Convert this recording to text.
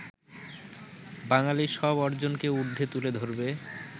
বাঙালির সব অর্জনকে উর্দ্ধে তুলে ধরবে